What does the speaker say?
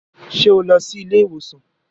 Ṣe o lọ sí ilé-ìwosan?